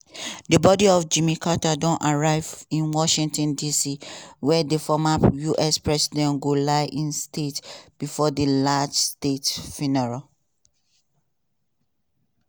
di body of jimmy carter don arrive in washington dc wia di former us president go lie in state bifor a large state funeral.